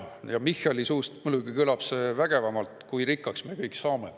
Michali suust muidugi kõlab see vägevamalt, kui rikkaks me kõik saame.